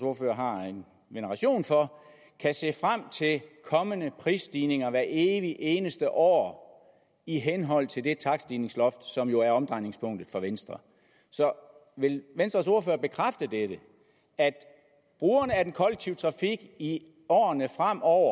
ordfører har en veneration for kan se frem til kommende prisstigninger hvert evig eneste år i henhold til det takststigningsloft som jo er omdrejningspunktet for venstre så vil venstres ordfører bekræfte nemlig at brugerne af den kollektive trafik i årene fremover